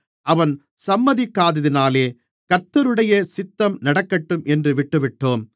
அவன் சம்மதிக்காததினாலே கர்த்தருடைய சித்தம் நடக்கட்டும் என்று விட்டுவிட்டோம்